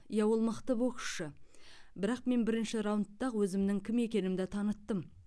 иә ол мықты боксшы бірақ мен бірінші раундта ақ өзімнің кім екенімді таныттым